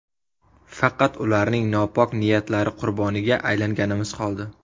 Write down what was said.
Faqat ularning nopok niyatlari qurboniga aylanganimiz qoldi.